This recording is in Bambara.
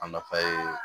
A nafa ye